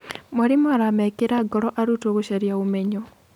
Mwarimũ aramekĩra ngoro arutwo gũcaria ũmenyo.